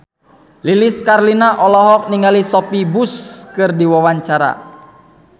Lilis Karlina olohok ningali Sophia Bush keur diwawancara